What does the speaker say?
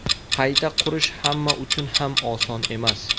Qayta qurish hamma uchun ham oson emas.